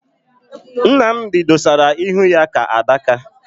Nnamdi dosara ihu ka adaka